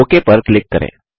okay पर click करें